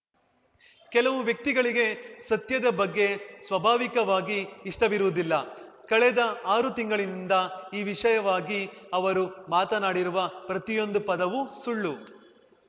ಕೆಲವು ವ್ಯಕ್ತಿಗಳಿಗೆ ಸತ್ಯದ ಬಗ್ಗೆ ಸ್ವಭಾವಿಕವಾಗಿ ಇಷ್ಟವಿರುವುದಿಲ್ಲ ಕಳೆದ ಆರು ತಿಂಗಳಿನಿಂದ ಈ ವಿಷಯವಾಗಿ ಅವರು ಮಾತನಾಡಿರುವ ಪ್ರತಿಯೊಂದು ಪದವೂ ಸುಳ್ಳು